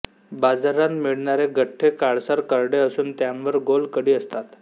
बाजारांत मिळणारे गठ्ठे काळसर करडे असून त्यांवर गोल कडीं असतात